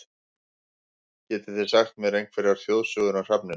Getið þið sagt mér einhverjar þjóðsögur um hrafninn?